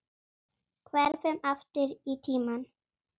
Hverfum aftur í tímann.